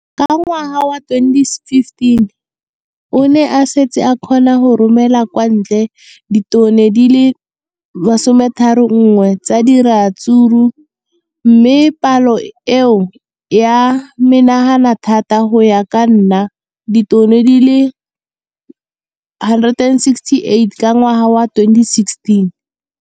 Ka ngwaga wa 2015, o ne a setse a kgona go romela kwa ntle ditone di le 31 tsa ratsuru mme palo eno e ne ya menagana thata go ka nna ditone di le 168 ka ngwaga wa 2016.